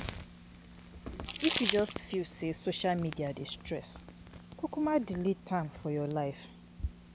If you feel sey social media dey stress kukuma delete am for your life.